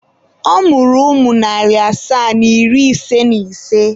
Ọ mụrụ ụmụ narị asaa na iri ise na ise.